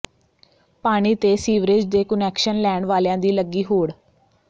ਪਾਣੀ ਤੇ ਸੀਵਰੇਜ ਦੇ ਕੁਨੈਕਸ਼ਨ ਲੈਣ ਵਾਲਿਆਂ ਦੀ ਲੱਗੀ ਹੋਡ਼